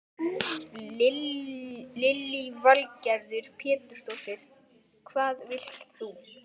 Lillý Valgerður Pétursdóttir: Hvað vilt þú?